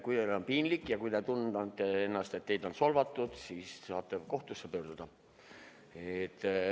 Kui teil on piinlik ja kui te tunnete, et teid on solvatud, siis saate kohtusse pöörduda.